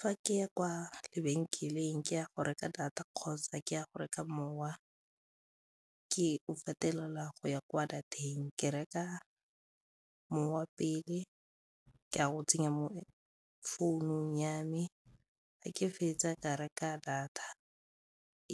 Fa keya kwa lebenkeleng ke ya go reka data kgotsa ke ya go reka mowa ke o fetelela go ya kwa data-eng ke reka mowa pele, ka go tsenya mo founung ya me, ga ke fetsa ka reka data